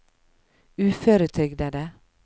uføretrygdede